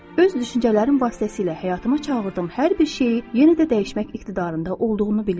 Öz düşüncələrim vasitəsilə həyatıma çağırdığım hər bir şeyi yenə də dəyişmək iqtidarında olduğunu bilirdim.